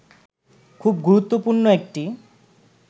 খুব গুরুত্বপূর্ণ একটি